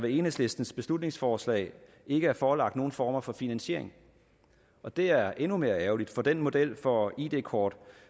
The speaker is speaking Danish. i enhedslistens beslutningsforslag ikke er forelagt nogen former for finansiering og det er endnu mere ærgerligt for den model for id kort